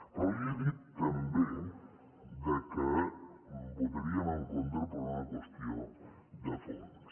però li he dit també que votaríem en contra per una qüestió de fons